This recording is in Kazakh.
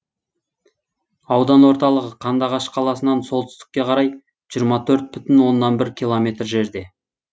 аудан орталығы қандыағаш қаласынан солтүстікке қарай жиырма төрт бүтін оннан бір километр жерде